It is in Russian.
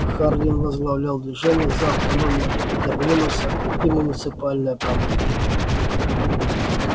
хардин возглавлял движение за автономию терминуса и муниципальное правление